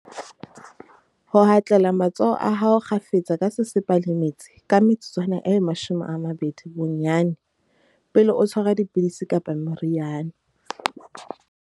Ho hatlela matsoho a hao kgafetsa ka sesepa le metsi ka metsotswana e 20 bo-nnyane, pele o tshwara di-pidisi kapa meriana.